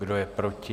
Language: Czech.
Kdo je proti?